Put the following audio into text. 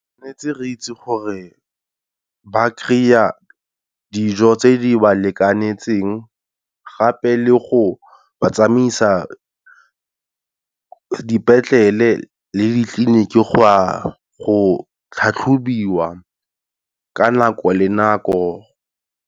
Tshwanetse re itse gore ba kry-a dijo tse di ba lekanetseng gape le go batsamaisa dipetlele le ditleliniki go ya go tlhatlhobiwa ka nako le nako.